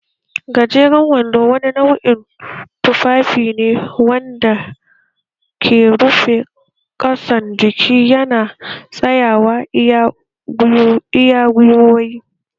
Gajeran wando wani nau'in tufafi ne wanda ke rufe ƙasan jiki yana tsayawa iya gwiwoyi